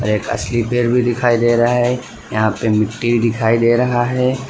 एक असली पेड़ भी दिखाई दे रहा है यहां पे मिट्टी दिखाई दे रहा है।